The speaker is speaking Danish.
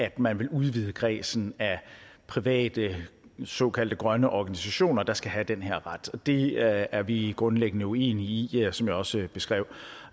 at man vil udvide kredsen af private såkaldte grønne organisationer der skal have den her ret og det er vi grundlæggende uenige i som jeg også beskrev